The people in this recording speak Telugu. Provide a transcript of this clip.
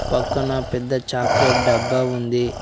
పక్కన పెద్ద చాక్లెట్ డబ్బా ఉంది.